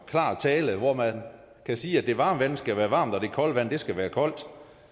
klar tale hvor man kan sige at det varme vand skal være varmt og at det kolde vand skal være koldt